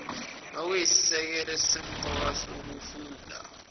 okuyisisekelo esisemqoka sokufunda